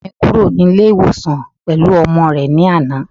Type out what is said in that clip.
Ọ̀gá mi kúrò ní ilé ìwòsan pẹ̀lú ọmọ rẹ ní àná